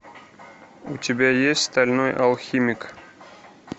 у тебя есть стальной алхимик